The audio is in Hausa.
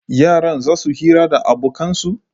Yaran zasu yi hira da abokan su?